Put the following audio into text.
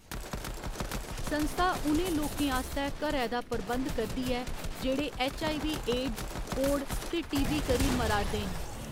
संस्था उ'नें लोकें आस्तै घरें दा प्रबंध करदी ऐ जेह्‌‌ड़े ऐच्च.आई.वी., एड्स, कोढ़ ते टी.बी. करी मरा'रदे न।